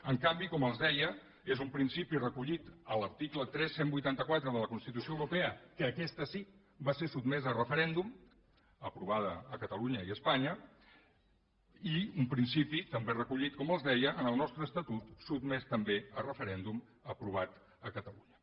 en canvi com els deia és un principi recollit a l’article tres mil cent i vuitanta quatre de la constitució europea que aquesta sí que va ser sotmesa a referèndum aprovada a catalunya i a espanya i un principi també recollit com els deia en el nostre estatut sotmès també a referèndum aprovat a catalunya